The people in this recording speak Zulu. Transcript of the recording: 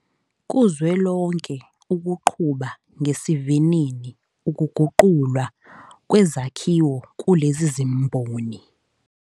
Kuzwelonke ukuqhuba ngesivinini ukuguqulwa kwezakhiwo kulezi zimboni.